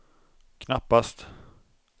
knappast